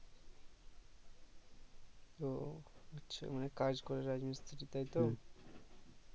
ও আচ্ছা মানে কাজ করে রাজমিস্ত্রি তাই তো